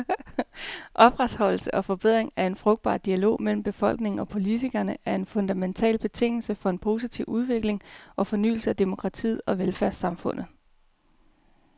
Opretholdelse og forbedring af en frugtbar dialog mellem befolkning og politikere er en fundamental betingelse for en positiv udvikling og fornyelse af demokratiet og velfærdssamfundet.